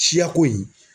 Siyako in